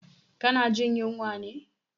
Ka na jin yunwa ne?